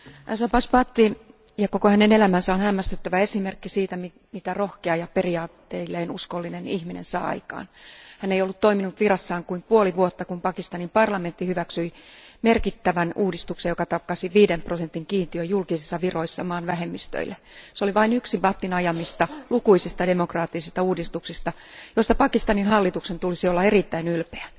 Arvoisa puhemies, Shahbaz Bhatti ja hänen koko elämänsä on hämmästyttävä esimerkki siitä, mitä rohkea ja periaatteilleen uskollinen ihminen saa aikaan. Hän ei ollut toiminut virassaan kuin puoli vuotta, kun Pakistanin parlamentti hyväksyi merkittävän uudistuksen, joka takasi viiden prosentin kiintiön julkisissa viroissa maan vähemmistöille. Se oli vain yksi Bhattin ajamista lukuisista demokraattisista uudistuksista, joista Pakistanin hallituksen tulisi olla erittäin ylpeä.